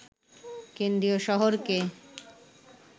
কেন্দ্রীয় শহরকে